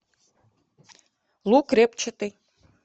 лук репчатый